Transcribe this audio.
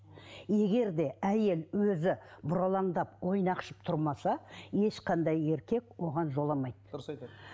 егер де әйел өзі бұралаңдап ойнақшып тұрмаса ешқандай еркек оған жоламайды дұрыс айтады